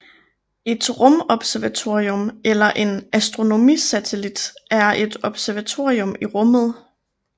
Et rumobservatorium eller en astronomisatellit er et observatorium i rummet